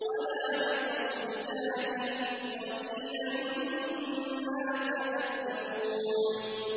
وَلَا بِقَوْلِ كَاهِنٍ ۚ قَلِيلًا مَّا تَذَكَّرُونَ